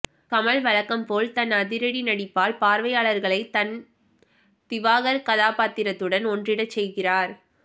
கமல் வழக்கம்போல் தன் அதிரடி நடிப்பால் பார்வையாளர்களை தன் திவாகர் கதாப்பாத்திரத்துடன் ஒன்றிடச் செய்கிறார்